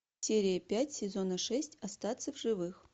серия пять сезона шесть остаться в живых